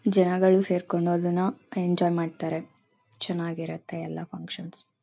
ಜನಗಳು ಸೇರ್ಕೊಂಡು ಅದ್ನಾ ಎಂಜಾಯ್ ಮಾಡ್ತಾರೆ ಚೆನ್ನಾಗೆ ಇರುತ್ತೆ ಎಲ್ಲ ಫನ್ಕ್ಷನ್ಸ್ .